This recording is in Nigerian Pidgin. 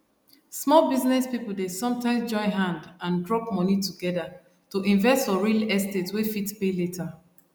small business people dey sometimes join hand and drop money together to invest for real estate wey fit pay later